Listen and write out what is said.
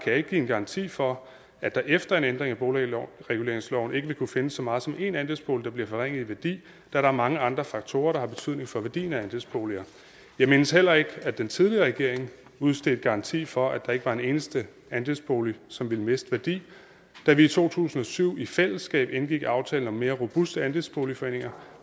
jeg ikke give en garanti for at der efter en ændring af boligreguleringsloven ikke vil kunne findes så meget som én andelsbolig der bliver forringet i værdi der er mange andre faktorer der har betydning for værdien af andelsboliger jeg mindes heller ikke at den tidligere regering udstedte garanti for at der ikke var en eneste andelsbolig som ville miste værdi da vi i to tusind og syv i fællesskab indgik aftalen om mere robuste andelsboligforeninger